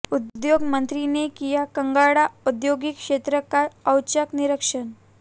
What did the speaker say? उद्योग मंत्री ने किया कांगड़ा ओद्यौगिक क्षेत्र का औचक निरीक्षण